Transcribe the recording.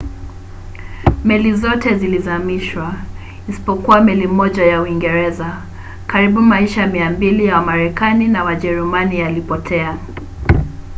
meli zote zilizamishwa isipokuwa meli moja ya uingereza. karibu maisha 200 ya wamarekani na wajerumani yalipotea